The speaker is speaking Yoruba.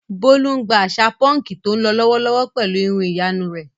Bólú ń gba àṣà púnkì tó ń lọ lọ́wọ́lọ́wọ́ pẹ̀lú irun ìyanu rẹ̀.